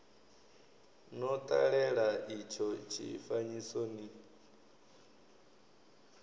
no ṱalela itsho tshifanyiso ni